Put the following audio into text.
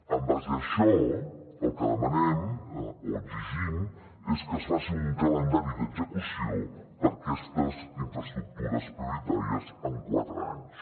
en base a això el que demanem o exigim és que es faci un calendari d’execució per a aquestes infraestructures prioritàries en quatre anys